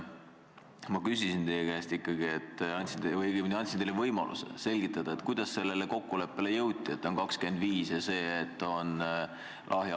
Ma küsisin teie käest või õigemini andsin teile võimaluse selgitada, kuidas sellele kokkulepele jõuti, et 25% on see õige.